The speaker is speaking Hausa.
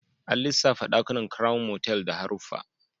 An lissafta dakunan Crown motal da haruffa